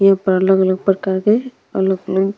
ये पर अलग अलग प्रकार के ऐरोप्लाने --